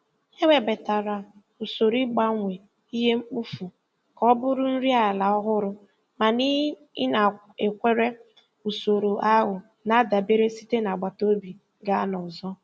E webatara usoro ịgbanwe ihe mkpofu ka ọ bụrụ nri ala ọhụrụ, mana ịnakwere usoro ahụ na-adabere site n'agbataobi gaa n'ọzọ.